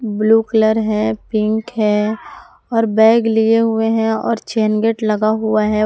Blue colour है pink है और बैग लिए हुए हैं और चैन गेट लगा हुआ है।